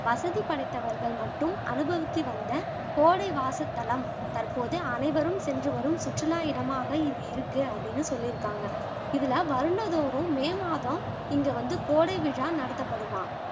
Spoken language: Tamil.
வசதி படைத்தவர்கள் மட்டும் அனுபவித்து வந்த கோடை வாசத்தலம் தற்போது அனைவரும் சென்று வரும் சுற்றுலா இடமாக இது இருக்கு அப்படின்னு சொல்லிருக்காங்க இதுல வருடந்தோறும் மே மாதம் இங்க வந்து கோடைவிழா நடத்தப்படுமாம்